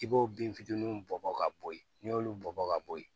I b'o bin fitininw bɔ bɔn ka bo ye n'i y'olu bɔ ka bo yen